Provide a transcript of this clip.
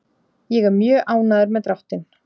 Ég er mjög ánægður með dráttinn.